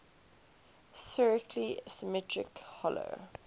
spherically symmetric hollow